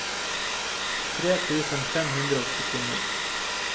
tre tusen fem hundre og syttini